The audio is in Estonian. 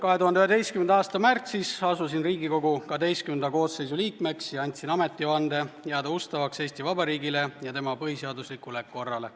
2011. aasta märtsis asusin Riigikogu XII koosseisu liikmeks ja andsin ametivande jääda ustavaks Eesti Vabariigile ja tema põhiseaduslikule korrale.